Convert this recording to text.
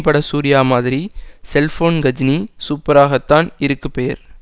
பட சூர்யா மாதிரி செல்போன் கஜினி சூப்பராகதான் இருக்கு பெயர்